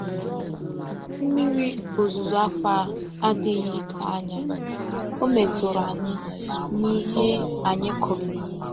Mmiri ozuzo afọ a adịghị dọọ anya, o metụrụ anyị n’ihe anyị kụrụ.